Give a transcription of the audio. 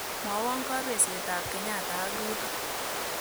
Mwawon kabesietap kenyatta ak ruto